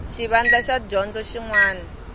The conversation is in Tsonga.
xivandla xa dyondzo xin wana